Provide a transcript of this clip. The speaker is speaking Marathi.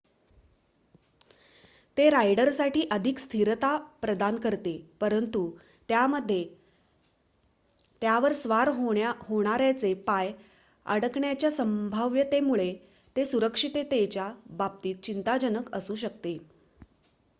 ते रायडरसाठी अधिक स्थिरता प्रदान करते परंतु त्यामध्ये त्यावर स्वार होणाऱ्याचे पाय अडकण्याच्या संभाव्यतेमुळे ते सुरक्षिततेच्या बाबतीत चिंताजनक असू शकते